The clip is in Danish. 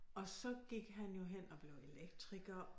Og så gik han jo hen og blev elektriker